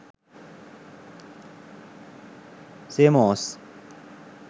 seomoz